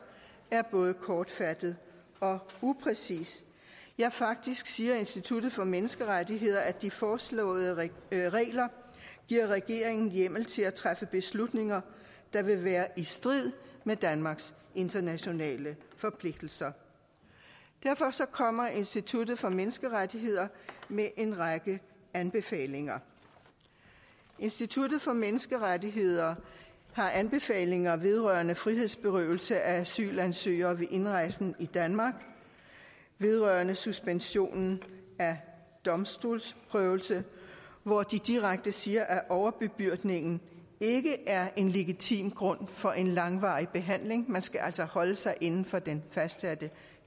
er både kortfattet og upræcis ja faktisk siger institut for menneskerettigheder at de foreslåede regler giver regeringen hjemmel til at træffe beslutninger der vil være i strid med danmarks internationale forpligtelser derfor kommer institut for menneskerettigheder med en række anbefalinger institut for menneskerettigheder har anbefalinger vedrørende frihedsberøvelse af asylansøgere ved indrejsen i danmark vedrørende suspensionen af domstolsprøvelse hvor de direkte siger at overbebyrdningen ikke er en legitim grund for en langvarig behandling man skal altså holde sig inden for den fastsatte